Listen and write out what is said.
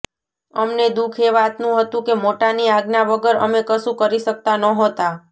અમને દુખ એ વાતનુ હતુ કે મોટાની આજ્ઞા વગર અમે કશુ કરી શકતા નહોતા